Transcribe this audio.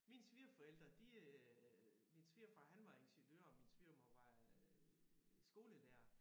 Mine svigerforældre de øh min svigerfar han var ingeniør og min svigermor var øh skolelærer